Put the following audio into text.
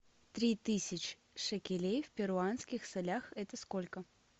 три тысячи шекелей в перуанских солях это сколько